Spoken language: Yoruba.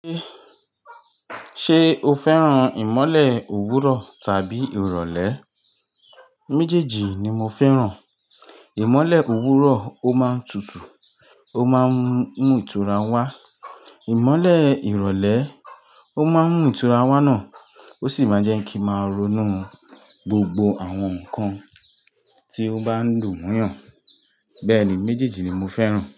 Ṣé, sé o féràn ìmọ́lẹ̀ òwúrọ̀ tàbí ìrọ̀lẹ́? Méjèèjì ni mo féràn. Ìmọ́lẹ̀ òwúrọ̀, ó máa ń tutù, ó máa ń mú ìtura wá. Ìmọ́lẹ̀ ìrọ̀lẹ́, ó máa ń mú ìtura wá náà, ó sì máa ń jẹ́ kí n máa ronú gbogbo àwọn nǹkan tí n ó bá ń lù wun yàn. Bẹ́ẹ̀ ni, méjèèjì ni mo féràn.